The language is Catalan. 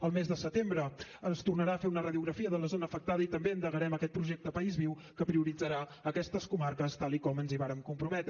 al mes de setembre es tornarà a fer una radiografia de la zona afectada i també endegarem aquest projecte país viu que prioritzarà aquestes comarques tal com ens hi vàrem comprometre